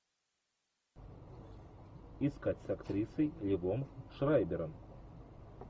искать с актрисой ливом шрайбером